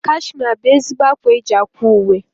Kashmia bụ ezigbo ákwá eji ákwà uwe.